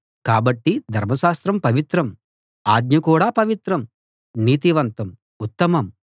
కాబట్టి ధర్మశాస్త్రం పవిత్రం ఆజ్ఞ కూడా పవిత్రం నీతివంతం ఉత్తమం